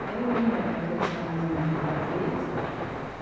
Até hoje eu me lembro daqueles camisãozinhos que ela fez.